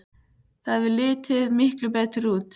Það hefði litið miklu betur út.